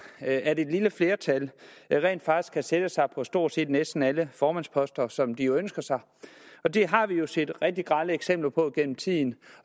at at et lille flertal rent faktisk kan sætte sig på stort set næsten alle formandsposter som de ønsker sig og det har vi jo set rigtig grelle eksempler på gennem tiden